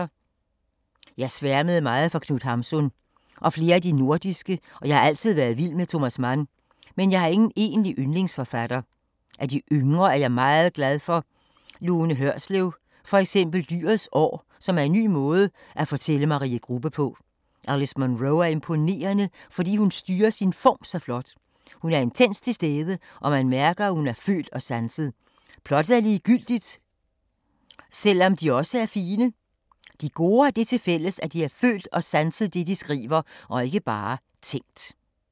Jeg sværmede meget for Knut Hamsun. Og flere af de nordiske og jeg har altid været vild med Thomas Mann, men jeg har ingen egentlig yndlingsforfatter. Af de yngre, er jeg meget glad for Lone Hørslev, for eksempel Dyrets år, som er en ny måde at fortælle Marie Grubbe på. Alice Munro er imponerende, fordi hun styrer sin form så flot. Hun er intenst til stede og man mærker, at hun har følt og sanset. Plottet er ligegyldigt, selv om de også er fine. De gode har det til fælles, at de har følt og sanset det, de skriver, og ikke bare tænkt.